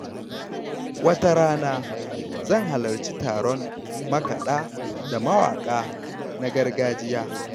Wata rana, zan halarci taron makaɗa da mawaka na gargajiya.